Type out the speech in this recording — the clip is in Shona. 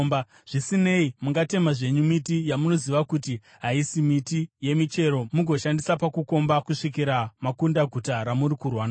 Zvisinei, mungatema zvenyu miti yamunoziva kuti haisi miti yemichero mugoshandisa pakukomba kusvikira makunda guta ramuri kurwa naro.